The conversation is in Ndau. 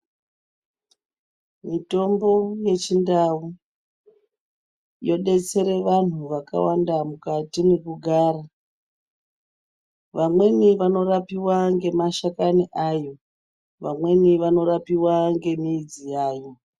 Mitombo yechindau yosetsere vantu vakawanda mukati mwekugara vamweni vanorapiwa ngemashakani ayo vamweni vanorapiwa ngemidzi yayo.